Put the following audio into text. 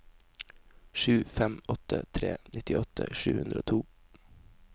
sju fem åtte tre nittiåtte sju hundre og to